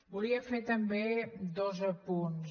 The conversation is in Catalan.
volia fer també dos apunts